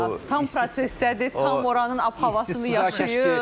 O tam prosesdədir, tam oranın ab-havasını yaşayır.